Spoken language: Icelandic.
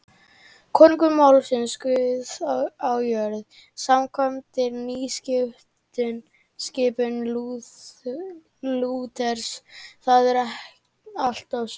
Konungur er málsvari Guðs á jörðu samkvæmt nýskipan Lúters, það er allt og sumt.